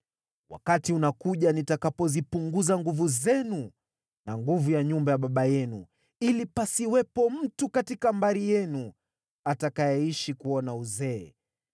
Wakati unakuja nitakapozipunguza nguvu zenu na nguvu ya nyumba ya baba yenu, ili pasiwepo mtu katika mbari yenu atakayeishi kuuona uzee